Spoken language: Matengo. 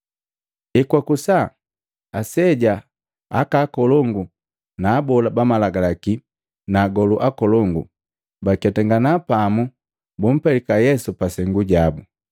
Ekwakusa, aseja, aka akolongu na abola ba Malagalaki na agolu akolongu, baketangana pamu bumpelika Yesu pasengu jabu.